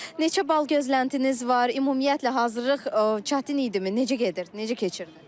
Neçə bal gözləntiniz var, ümumiyyətlə hazırlıq çətin idimi, necə gedir, necə keçir?